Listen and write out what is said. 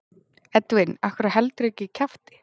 Edwin af hverju heldurðu ekki kjafti?